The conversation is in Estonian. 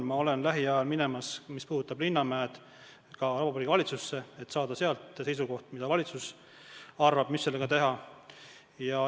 Ma olen lähiajal minemas selle asjaga, mis puudutab Linnamäed, ka Vabariigi Valitsusse, et saada sealt seisukoht, mida valitsus arvab, mis sellega teha.